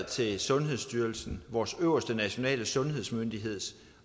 til sundhedsstyrelsen vores øverste nationale sundhedsmyndighed til